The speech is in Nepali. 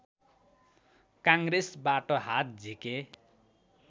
कङ्ग्रेसबाट हात झिके